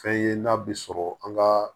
Fɛn ye n'a bɛ sɔrɔ an ka